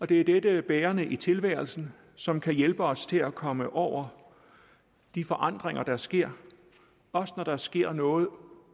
det er dette bærende i tilværelsen som kan hjælpe os til at komme over de forandringer der sker også når der sker noget